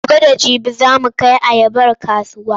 Gobe da jibi za mu kai ayabarmu kasuwa.